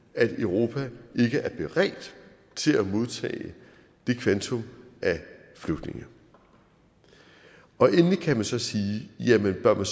at europa ikke er beredt til at modtage det kvantum af flygtninge endelig kan man så sige jamen bør man